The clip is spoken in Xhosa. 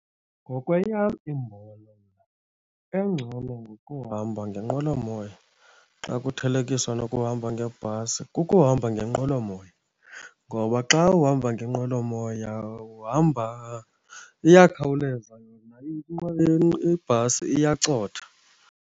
Ngokweyam imbono, engcono ngokuhamba ngenqwelomoya xa kuthelekiswa nokuhamba ngebhasi kukuhamba ngenqwelomoya ngoba xa uhamba ngenqwelomoya uhamba, iyakhawuleza yona ibhasi iyacotha.